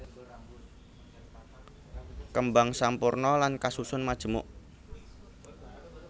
Kembang sampurna lan kasusun majemuk